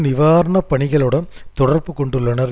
நிவாரண பணிகளுடன் தொடர்பு கொண்டுள்ளனர்